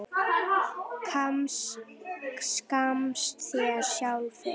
skammta sér sjálfir